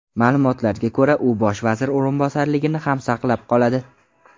Ma’lumotlarga ko‘ra, u Bosh vazir o‘rinbosarligini ham saqlab qoladi.